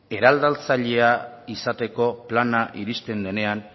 eraldatzailea izateko plana iristen denean